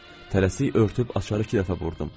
Tələsik örtüb açarı iki dəfə vurdum.